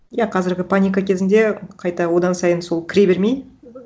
иә қазіргі паника кезінде қайта одан сайын сол кіре бермей